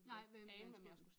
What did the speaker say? Nej hvem man skulle